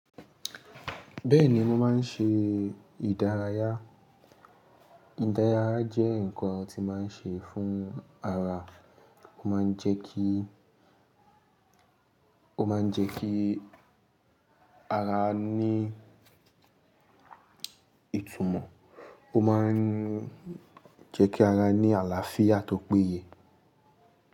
Bẹ́ẹ̀ni mo máa ń ṣe ìdárayá. Ìdárayá jẹ́ nǹkan tí màá ń ṣe fún ara. Ó máa ń jẹ́ kí, ó máa ń jẹ́ kí ara ní ìtumọ̀, ó máa ń jẹ́ kí ara ní àlàáfíà tó péye.